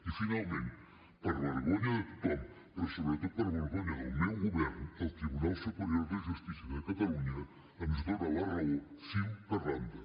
i finalment per a vergonya de tothom però sobretot per a vergonya del meu govern el tribunal superior de justícia de catalunya ens dona la raó fil per randa